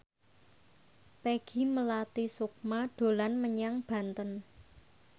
Peggy Melati Sukma dolan menyang Banten